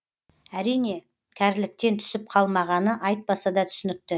әрине кәріліктен түсіп қалмағаны айтпаса да түсінікті